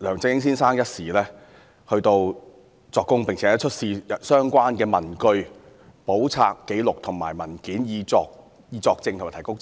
梁振英先生一事作供，並出示相關文據、簿冊、紀錄和文件，以及作證和提供證據。